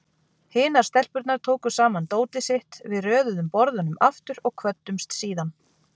Hinar stelpurnar tóku saman dótið sitt, við röðuðum borðunum aftur og kvöddumst síðan.